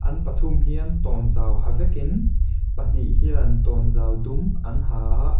an pathum hian tawnzau ha vekin pahnih hian tawnzau dum an ha a--